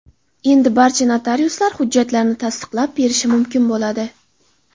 Endi barcha notariuslar hujjatlarni tasdiqlab berishi mumkin bo‘ladi.